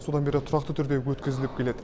содан бері тұрақты түрде өткізіліп келеді